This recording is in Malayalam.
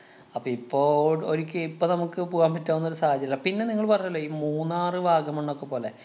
അപ്പൊ ഇപ്പൊ ഓട് ഒരുക്കി ഇപ്പ നമ്മക്ക് പോകാന്‍ പറ്റാവന്നൊരു സാഹചര്യം അല്ല. പിന്നെ നിങ്ങള് പറഞ്ഞില്ലേ ഈ മൂന്നാറ്, വാഗമണ്ണൊക്കെ പോലെ.